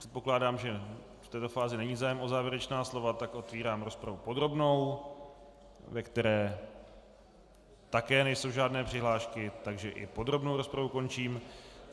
Předpokládám, že v této fázi není zájem o závěrečná slova, tak otevírám rozpravu podrobnou, ve které také nejsou žádné přihlášky, takže i podrobnou rozpravu končím.